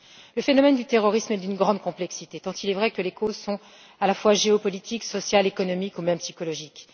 Le phénomène du terrorisme est d'une grande complexité, tant il est vrai que les causes sont, à la fois géopolitiques, sociales, économiques ou même psychologiques.